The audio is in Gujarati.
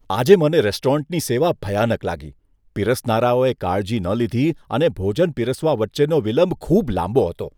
આજે મને રેસ્ટોરન્ટની સેવા ભયાનક લાગી. પીરસનારાઓએ કાળજી ન લીધી અને ભોજન પીરસવા વચ્ચેનો વિલંબ ખૂબ લાંબો હતો.